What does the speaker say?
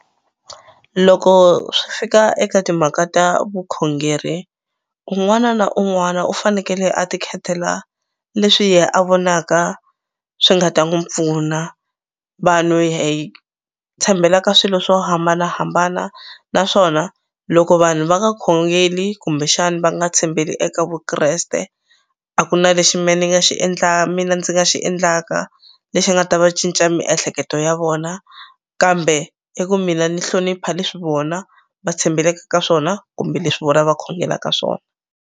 Loko swi fika eka timhaka ta vukhongeri kun'wana na un'wana u fanekele a ti khetela leswi ye a vonaka swi nga ta n'wu pfuna vanhu hi tshembela ka swilo swo hambanahambana naswona loko vanhu va nga khongeli kumbexani va nga tshembeli eka Vukreste a ku na lexi me ni nga xi mina ndzi nga xi endlaka lexi nga ta va cinca miehleketo ya vona kambe i ku mina ni hlonipha leswi vona va tshembeleke ka swona kumbe leswi vona va khongelaka swona.